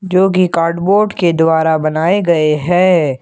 जो की कार्डबोर्ड के द्वारा बनाए गए हैं।